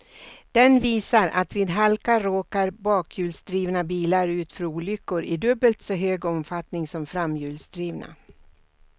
Den visar att vid halka råkar bakhjulsdrivna bilar ut för olyckor i dubbelt så hög omfattning som framhjulsdrivna.